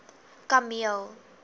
kameel